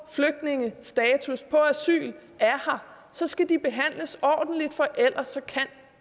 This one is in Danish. flygtningestatus på asyl er her så skal de behandles ordentligt for ellers kan